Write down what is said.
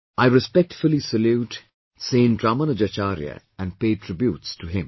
I respectfully salute Saint Ramanujacharya and pay tributes to him